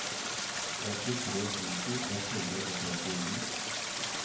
åttitre tusen ett hundre og trettini